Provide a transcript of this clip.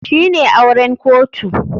Shine auren kotu.